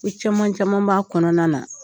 Ko caman caman b'a kɔnɔna na.